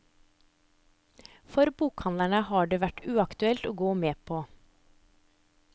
For bokhandlerne har det vært uaktuelt å gå med på.